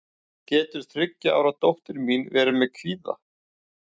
getur þriggja ára dóttir mín verið með kvíða